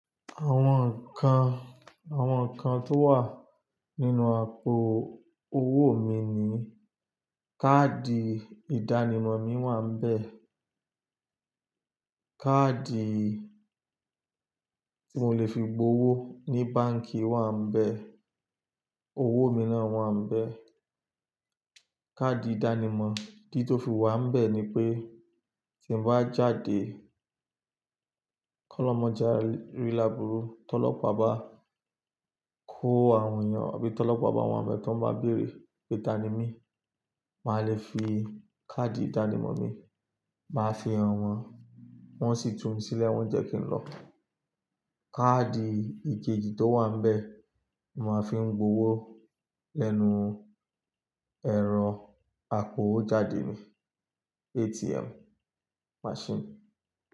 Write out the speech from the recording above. Àwọn nǹkan, àwọn nǹkan tó wà nínú àpò owó mi ni; káàdì ìdánimọ̀ mi wà níbẹ̀, káàdì tí mo lè fi gbowó ní báǹkì wà n bẹ̀, owó mi náà wà n bẹ̀. Káàdì ìdánimọ̀ ìdí tó fi wà n bẹ̀ ni pé tí n bá jáde kọ́lọmọjà rí làbúrú, tọ́lọpọ̀ bá kó àwọn èèyàn àbí tọ́lọpọ̀ bá àwọn àbẹ̀ tó ń bá bèrè pé ta ni mí, màá le fi káàdì ìdánimọ̀ mi, màá fi hàn wọ́n, wọ́n sì tún mi sílẹ̀, wọ́n jẹ́ kí n lọ. Káàdì ìkejì tó wà níbẹ̀, màá fi ń gbowó lẹ́nu ẹ̀rọ àpòwo jáde ní, ATM machine.